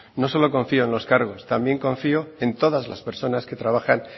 no solo confío en los cargos también confío en todas las personas que trabajan